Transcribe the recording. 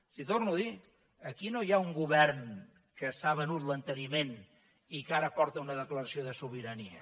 els ho torno a dir aquí no hi ha un govern que s’ha begut l’enteniment i que ara porta una declaració de sobirania